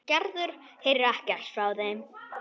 Gerður heyrir ekkert frá þeim.